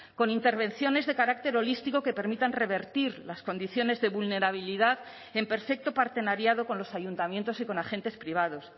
con intervenciones de carácter holístico que permitan revertir las condiciones de vulnerabilidad en perfecto partenariado con los ayuntamientos y con agentes privados